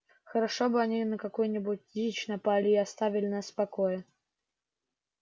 хорошо бы они на какую-нибудь дичь напали и оставили нас в покое